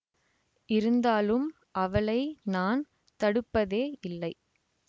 இருந்தாலும் அவளை நான் தடுப்பதே இல்லை